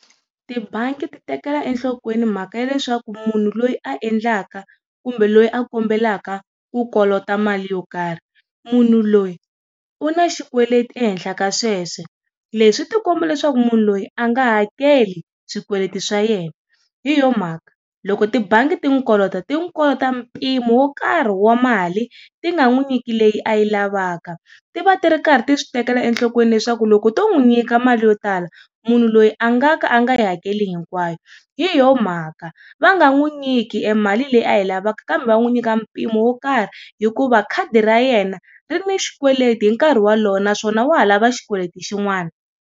Tibangi ti tekela enhlokweni mhaka ya leswaku munhu loyi a endlaka kumbe loyi a kombelaka ku kolota mali yo karhi, munhu loyi u na xikweleti ehenhla ka sweswo. Leswi swi ti komba leswaku munhu loyi a nga hakeli swikweleti swa yena, hi yona mhaka, loko tibangi ti n'wi kolota, ti n'wi kolota mpimo wo karhi wa mali, ti nga n'wi nyiki leyi a yi lavaka. Ti va ti karhi ti swi tekela enhlokweni leswaku loko to n'wi nyika mali yo tala, munhu loyi a nga ka a nga yi hakeli hinkwayo. Hi yoho mhaka, va nga n'wi nyiki emali leyi a lavaka kambe nyika mpimo wo karhi hikuva khadi ra yena, ri ni xikweleti hinkarhi wolowo naswona wa ha lava xikweleti xin'wana.